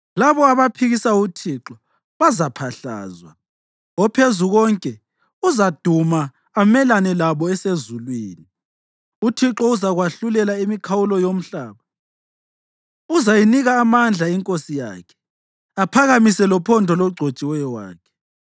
labo abaphikisa uThixo bazaphahlazwa. OPhezukonke uzaduma amelane labo esezulwini; uThixo uzakwahlulela imikhawulo yomhlaba. Uzayinika amandla inkosi yakhe aphakamise lophondo logcotshiweyo wakhe.”